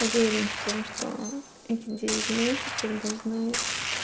уверен в том что эти девять месяцев должны